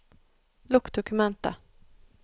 Lukk dokumentet